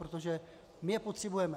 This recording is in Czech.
Protože my je potřebujeme.